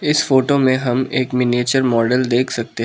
इस फोटो मे हम एक मिनिएचर मॉडल देख सकते हैं।